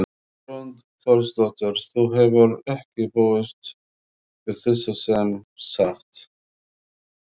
Hrund Þórsdóttir: Þú hefur ekki búist við þessu sem sagt?